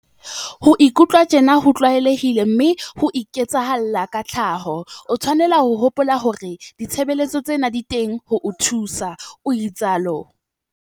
Ho ikutlwa tjena ho tlwaelehile mme ho iketsahalla ka tlhaho. O tshwanela ho hopola hore ditshebeletso tsena di teng ho o thusa", o itsalo.